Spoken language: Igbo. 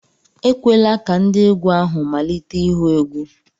Ekwela ka ndị otiegwu ahụ malite ihu egwu!